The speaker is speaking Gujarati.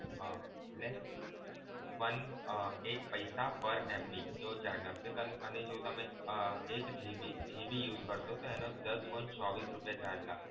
એટલે one એક પૈસા per MB એવો charge લાગશે અને જો તમે એક GB use કરશો તો એનો દસ point ચોવીશ રુપીયા charge લાગશે.